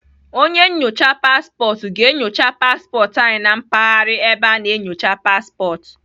Onye nnyocha paspọtụ ga-enyocha paspọtụ anyị na mpaghara ebe a na-enyocha paspọtụ.